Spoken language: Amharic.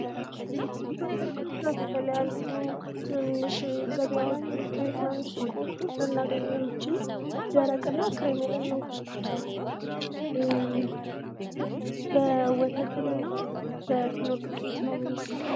ኢትዮጵያ ውስጥ በብዛት የተለያዩ ትናንሽ ገበያዎች ልናገኘው የምችለው ደረቅ ብስኩት ሲሆን፤ ከፊኖ ዱቄትና ከወተት ነው የሚሰራው።